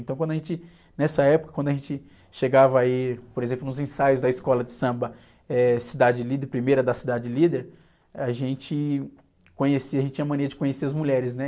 Então quando a gente, nessa época, quando a gente chegava a ir, por exemplo, nos ensaios da escola de samba, eh, Cidade Líder, Primeira da Cidade Líder, a gente conhecia, a gente tinha mania de conhecer as mulheres, né?